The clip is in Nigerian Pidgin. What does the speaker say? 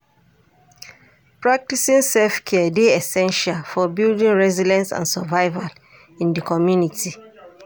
Practicing self-care dey essential for building resilience and survival in di community.